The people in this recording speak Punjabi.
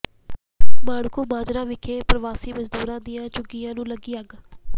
ਮਾਣਕੂ ਮਾਜਰਾ ਵਿਖੇ ਪ੍ਰਵਾਸੀ ਮਜ਼ਦੂਰਾਂ ਦੀਆਂ ਝੁੱਗੀਆਂ ਨੂੰ ਲੱਗੀ ਅੱਗ